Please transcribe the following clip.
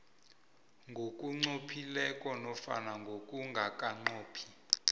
ngokunqophileko nofana ngokungakanqophi